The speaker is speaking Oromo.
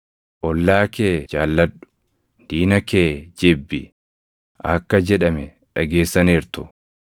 “ ‘Ollaa kee jaalladhu; + 5:43 \+xt Lew 19:18\+xt* diina kee jibbi’ akka jedhame dhageessaniirtu.